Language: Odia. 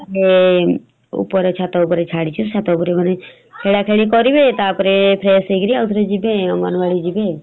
ଏବେ ଉପରେ ଛାତ ଉପରେ ଛାଡିଚି ଛାତ ଉପରେ ମାନେ ଖେଳା ଖେଳି କରିବେ ତାପରେ fresh ହେଇକିରି ଆଉ ଥରେ ଯିବେ। ଅଙ୍ଗନବାଡି ଯିବେ ଆଉ ।